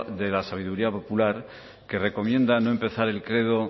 de la sabiduría popular que recomienda no empezar el credo